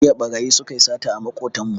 Jiya ɓarayi su ka yi sata a maƙotanmu